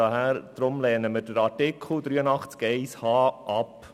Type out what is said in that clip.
Deswegen lehnen wir Artikel 83 Absatz 1 Buchstabe h ab.